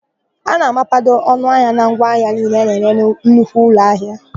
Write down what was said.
A na-amapado ọnụahịa na ngwa ahịa niile a na-ere na nnukwu ụlọahịa.